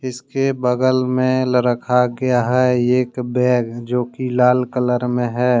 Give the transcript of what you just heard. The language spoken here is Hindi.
इसके बगल में लरखा गया है एक बैग जो की लाल कलर में है।